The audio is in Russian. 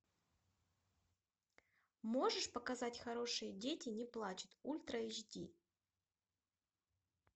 можешь показать хорошие дети не плачут ультра эйч ди